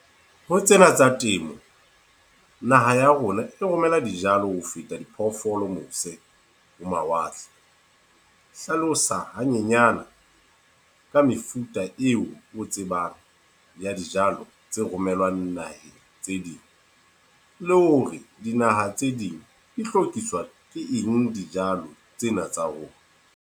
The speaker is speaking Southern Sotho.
Ho tsena tsa temo, naha ya rona e romela dijalo ho feta diphoofolo mose ho mawatle. Hlalosa hanyenyana ka mefuta a eo o tsebang ya dijalo tse romelwang naheng tse ding. Le hore dinaha tse ding di lokiswa ke eng dijalo tsena tsa rona.